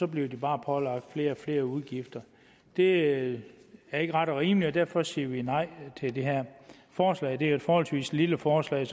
bliver bare pålagt flere og flere udgifter det er ikke ret og rimeligt og derfor siger vi nej til det her forslag det er jo et forholdsvis lille forslag